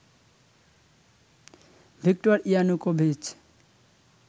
Victor Yanukovych